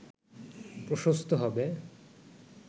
প্রশস্ত হবে